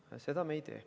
Aga seda me ei tee.